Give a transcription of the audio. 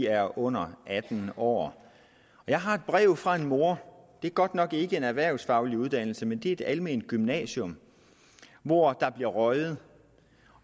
er under atten år jeg har et brev fra en mor det er godt nok ikke en erhvervsfaglig uddannelse men det er et alment gymnasium hvor der bliver røget